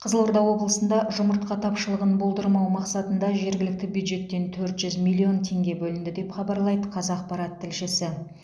қызылорда облысында жұмыртқа тапшылығын болдырмау мақсатында жергілікті бюджеттен төрт жүз миллион теңге бөлінді деп хабарлайды қазақпарат тілшісі